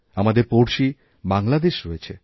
আমাদের পড়শি বাংলাদেশ রয়েছে